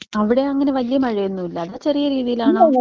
അവിടെ അങ്ങനെ വലിയ മഴ ഒന്നൂല്ല ഇന്നാ ചെറിയ രീതിയിൽ ആണോ?